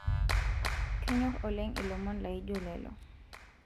kenyor oleng ilomon laijo lelo